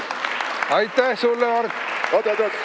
Aitäh sulle, Mart!